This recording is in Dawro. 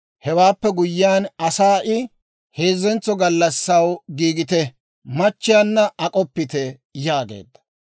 Hewaappe guyyiyaan asaa I, «Heezzentso gallassaw giigite; machchiyaanna ak'oppite» yaageedda.